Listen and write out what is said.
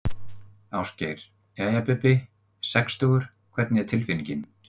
Ásgeir: Jæja Bubbi, sextugur hvernig er tilfinningin?